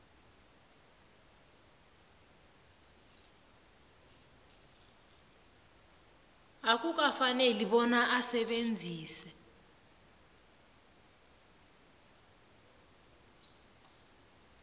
akukafaneli bona asebenzise